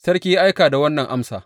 Sarki ya aika da wannan amsa.